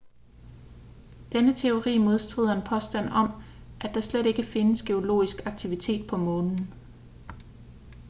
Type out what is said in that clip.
denne teori modstrider en påstand om at der slet ikke findes geologisk aktivitet på månen